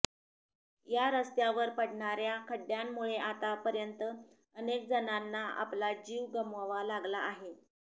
या रस्त्यावर पडणाऱ्या खड्ड्यांमुळे आता पर्यंत अनेक जणांना आपला जीव गमवावा लागला आहे